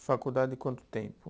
Faculdade quanto tempo?